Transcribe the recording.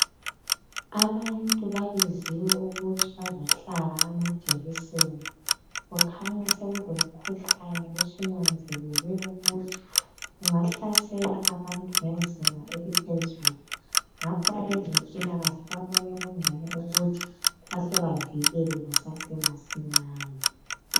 Abantu babiziwe ukuthi bazohlaba amajekiseni kukhanya sekulomkhuhlane osunanzelelwe ukuthi ungahlasela abantu ngezinga eliphezulu ngakho abezempilakahle babone kungcono ukuthi bahle bavikele kusasemasinyane.